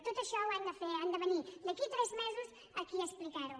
tot això ho han de fer han de venir d’aquí a tres mesos aquí a explicar ho